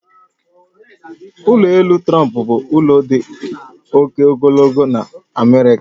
Ụlọ elu Trump bụ ụlọ dị oke ogologo nọ n'America